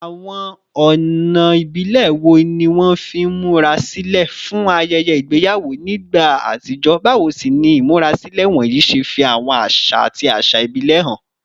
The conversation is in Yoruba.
Àwọn ọ̀nà ìbílẹ̀ wo ni wọ́n fi ń múra sílẹ̀ fún ayẹyẹ ìgbéyàwó nígbà àtijọ́, báwo sì ni ìmúrasílẹ̀ wọ̀nyí ṣe fi àwọn àṣà àti àṣà ìbílẹ̀ hàn?